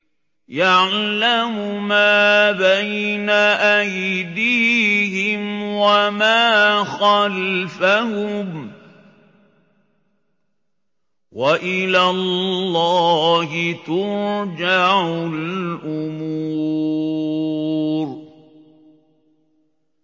يَعْلَمُ مَا بَيْنَ أَيْدِيهِمْ وَمَا خَلْفَهُمْ ۗ وَإِلَى اللَّهِ تُرْجَعُ الْأُمُورُ